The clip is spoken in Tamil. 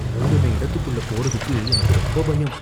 மூடுன இடத்துக்குள்ள போறதுக்கு எனக்கு ரொம்ப பயம்.